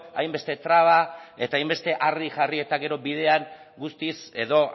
hainbeste traba eta hainbeste harri jarri eta gero bidean guztiz edo